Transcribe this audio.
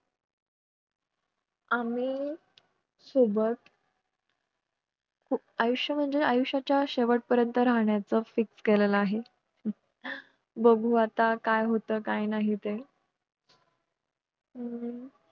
आम्ही सोबत आयुष्य म्हणजे आयुष्याच्या शेवट पर्यंत राहण्याचं fix केलेलं आहे बघू आता काय होत काय नाही ते